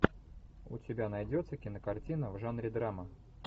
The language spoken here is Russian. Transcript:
у тебя найдется кинокартина в жанре драма